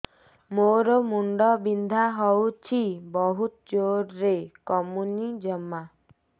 ମୋର ମୁଣ୍ଡ ବିନ୍ଧା ହଉଛି ବହୁତ ଜୋରରେ କମୁନି ଜମା